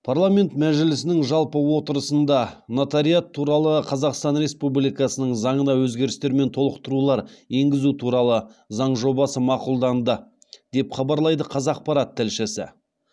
парламент мәжілісінің жалпы отырысында нотариат туралы қазақстан республикасының заңына өзгерістер мен толықтырулар енгізу туралы заң жобасы мақұлданды деп хабарлайды қазақпарат тілшісі